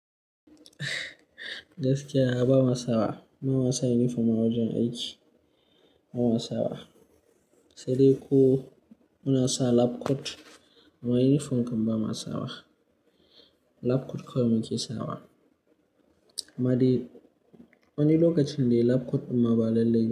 Gaskiya, Bama sawa. Bama sa uniform a wajen aiki. Baba ma sawa. Sai dai ko muna sa lab coat, amma uniform kam Bama sawa. Lab coat kawai muke sawa. Amma dai, wani lokacin dai lab coat dimma ba lalai ba.